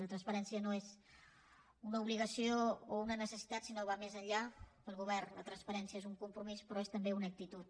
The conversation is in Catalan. la transparència no és una obligació o una necessitat sinó que va més enllà per al govern la transparència és un compromís però és també una actitud